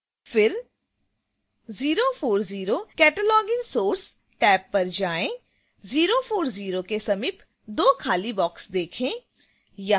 फिर 040 cataloging source tab पर जाएँ